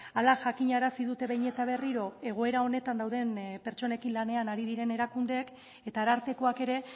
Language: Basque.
hala jakinarazi dute behin eta berriro egoera honetan dauden pertsonekin lanean ari diren erakundeek eta arartekoak ere